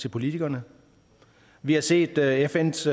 til politikerne vi har set fns